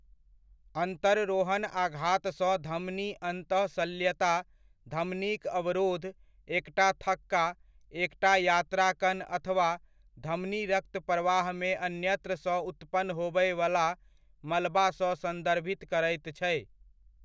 अन्तररोहण आघातसँ धमनी अन्तःशल्यता, धमनीक अवरोध, एकटा थक्का, एकटा यात्रा कण अथवा धमनी रक्तप्रवाहमे अन्यत्रसँ उत्पन्न होबयवला मलबासँ सन्दर्भित करैत छै।